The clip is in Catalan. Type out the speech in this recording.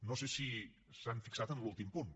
no sé si s’han fixat en l’últim punt